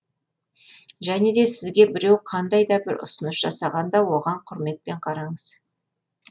және де сізге біреу қандай да бір ұсыныс жасаған да оған құрметпен қараңыз